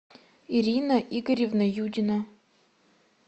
ирина игоревна юдина